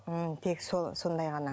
м тек сол сондай ғана